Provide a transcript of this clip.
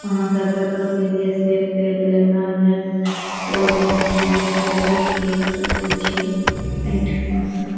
आहां सब कतो के लिए सेब तेब लेना या ते ओय जगह के लिए सेबों खरीद सके छी एठमा से।